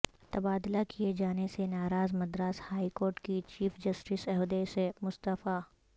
تبادلہ کیے جانے سے ناراض مدراس ہائی کورٹ کی چیف جسٹس عہدے سے مستعفی